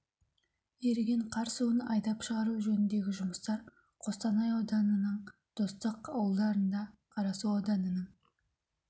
еріген қар суын айдап шығару жөніндегі жұмыстар қостанай ауданының достық ауылдарында қарасу ауданының